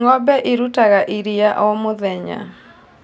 Ng'ombe ĩrutaga ĩrĩa o mũthenya